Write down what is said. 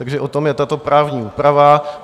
Takže o tom je tato právní úprava.